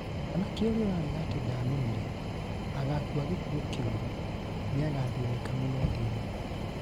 mwanake ũria ũrarega atĩ ndanumire, agakua gĩkuũ kĩuru, niagathĩnĩka mũno thĩ ĩno.